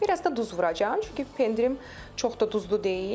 Biraz da duz vuracam, çünki pendirim çox da duzlu deyil.